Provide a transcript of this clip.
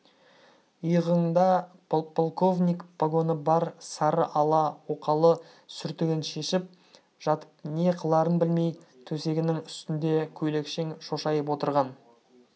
иығында подполковник погоны бар сары ала оқалы сүртігін шешіп жатып не қыларын білмей төсегінің үстінде көйлекшең шошайып отырған